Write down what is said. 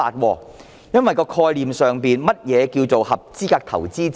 究竟概念上何謂合資格投資者？